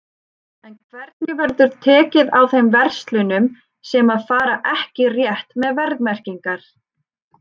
En hvernig verður tekið á þeim verslunum sem að fara ekki rétt með verðmerkingar?